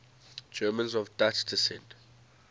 germans of dutch descent